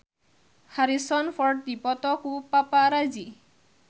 Harrison Ford dipoto ku paparazi